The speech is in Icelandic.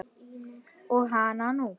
Og hana nú!